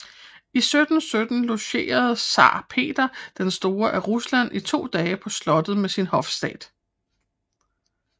I 1717 logerede zar Peter den store af Rusland i to dage på slottet med sin hofstat